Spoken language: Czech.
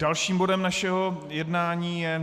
Dalším bodem našeho jednání je